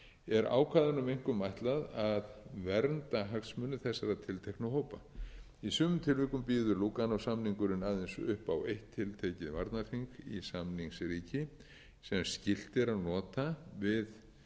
er ákvæðunum einkum ætlað að vernda hagsmuni þessara tilteknu hópa í sumum tilvikum býður lúganósamningurinn aðeins upp á eitt tiltekið varnarþing í samningsríki sem skylt er að nota